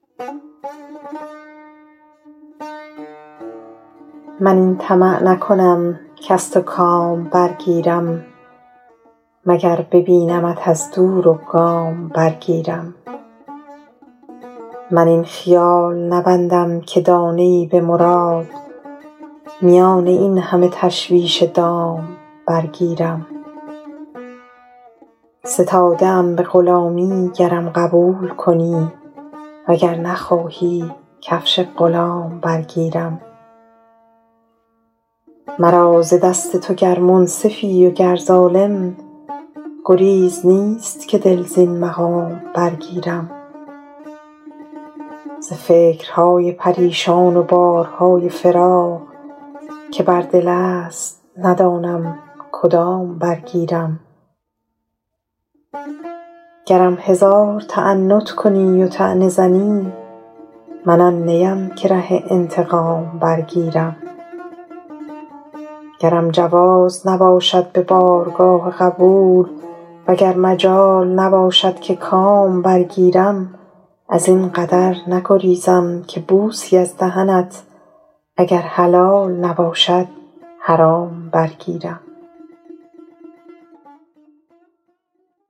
من این طمع نکنم کز تو کام برگیرم مگر ببینمت از دور و گام برگیرم من این خیال نبندم که دانه ای به مراد میان این همه تشویش دام برگیرم ستاده ام به غلامی گرم قبول کنی و گر نخواهی کفش غلام برگیرم مرا ز دست تو گر منصفی و گر ظالم گریز نیست که دل زین مقام برگیرم ز فکرهای پریشان و بارهای فراق که بر دل است ندانم کدام برگیرم گرم هزار تعنت کنی و طعنه زنی من آن نیم که ره انتقام برگیرم گرم جواز نباشد به بارگاه قبول و گر مجال نباشد که کام برگیرم از این قدر نگریزم که بوسی از دهنت اگر حلال نباشد حرام برگیرم